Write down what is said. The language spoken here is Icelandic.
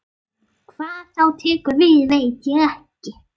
Hvað þá tekur við veit ég ekki.